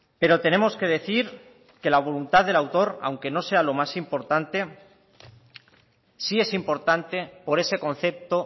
pero tenemos que decir que la voluntad del autor aunque no sea lo más importante sí es importante por ese concepto